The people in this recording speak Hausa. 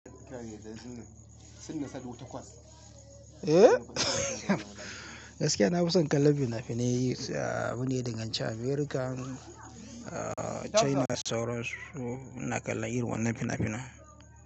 Gaskiya na fi son kallon fina-finai, ah abunda ya dangan ci America, ah China da sauransu ina kallon irin wannan fina-finan.